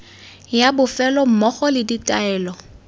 ya bofelo mmogo le ditaelo